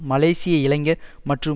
மலேசிய இளைஞர் மற்றும்